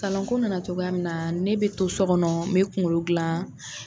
Kalanko nana cogoya min na ne bɛ to so kɔnɔ n bɛ kunkolo gilan.